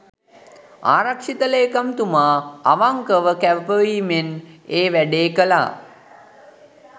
ආරක්ෂක ලේකම්තුමා අවංකව කැපවීමෙන් ඒ වැඩේ කළා.